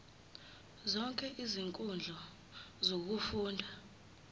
zonke izinkundla zokufunda